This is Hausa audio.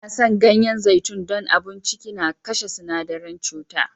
An san ganyen zaitun don abun ciki na kashe sinadaren cuta.